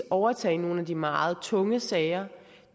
overtage nogle af de meget tunge sager